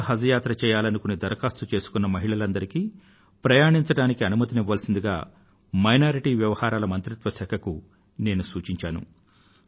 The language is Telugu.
ఒంటరిగా హజ్ యాత్ర చేయాలనుకుని ధరఖాస్తు చేసుకున్న మహిళలందరికీ ప్రయాణించడానికి అనుమతిని ఇవ్వవలసిందిగా అల్పసంఖ్యాక వర్గాల వ్యవహారాల మంత్రిత్వ శాఖ కు నేను సూచించాను